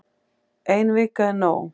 Ein vika er nóg